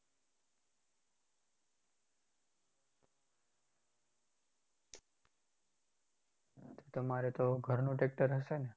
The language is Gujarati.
તમારે તો ઘરનું tractor હશે ને?